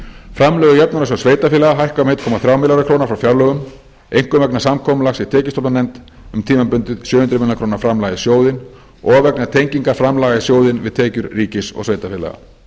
framlög í jöfnunarsjóð sveitarfélaga hækka um einn komma þrjá milljarða króna frá fjárlögum einkum vegna samkomulags í tekjustofnanefnd um tímabundið sjö hundruð milljóna króna framlag í sjóðinn og vegna tengingar framlaga í sjóðinn við tekjur ríkis og sveitarfélaga